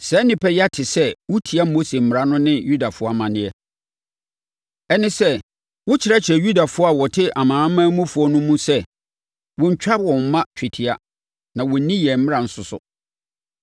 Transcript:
Saa nnipa yi ate sɛ wotia Mose mmara no ne Yudafoɔ amanneɛ; ɛne sɛ, wokyerɛkyerɛ Yudafoɔ a wɔte amanamanmufoɔ no mu sɛ wɔnntwa wɔn mma twetia na wɔnnni yɛn amanneɛ nso so.